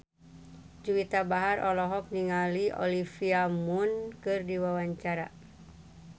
Juwita Bahar olohok ningali Olivia Munn keur diwawancara